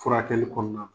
Furakɛli kɔnɔna na